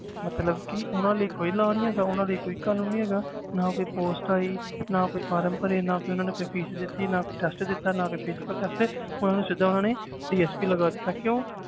ਮਤਲਬ ਕਿ ਉਹਨਾਂ ਲਈ ਕੋਈ law ਨੀ ਹੈਗਾ ਉਹਨਾਂ ਲਈ ਕੋਈ ਕਾਨੂੰਨ ਨੀ ਹੈਗਾ ਨਾ ਕੋਈ post ਆਈ ਨਾ ਕੋਈ form ਭਰੇ, ਨਾ ਕੋਈ ਉਹਨਾਂ ਨੇ ਕੋਈ fees ਦਿੱਤੀ ਨਾ ਕੋਈ test ਦਿੱਤਾ, ਨਾ ਕੋਈ physical test ਉਹਨਾਂ ਨੂੰ ਸਿੱਧਾ ਉਹਨਾਂ ਨੇ DSP ਲਗਾ ਦਿੱਤਾ, ਕਿਉਂ?